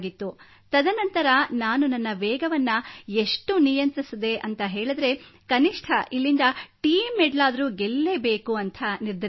ತದನಂತರ ನಾನು ನನ್ನ ವೇಗವನ್ನು ಎಷ್ಟು ನಿಯಂತ್ರಿಸಿದೆ ಎಂದರೆ ಕನಿಷ್ಠ ಇಲ್ಲಿಂದ ಟೀಂ ಮೆಡಲ್ ಗೆಲ್ಲಬೇಕು ಎಂದು ನಿರ್ಧರಿಸಿದ್ದೆ